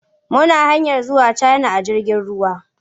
Muna hanyar zuwa Cana a jirgin ruwa.